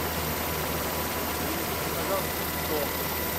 принесите пожалуйста сок